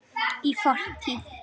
Í fortíð!